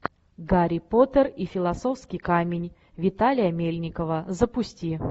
гарри поттер и философский камень виталия мельникова запусти